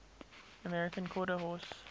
american quarter horse